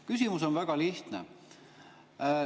Küsimus on väga lihtne.